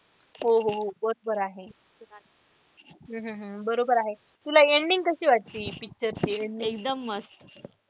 हो हो हो बरोबर आहे. हम्म हम्म हम्म बोरबर आहे तुला ending कशी वाटली picture ची ending?